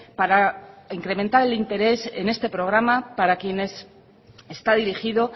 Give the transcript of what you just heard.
para incrementar el interés en este programa para quiénes está dirigido